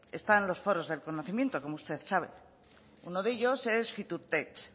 están los foros del conocimiento como usted sabe uno de ellos es fiturtech